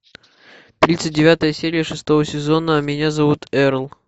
тридцать девятая серия шестого сезона меня зовут эрл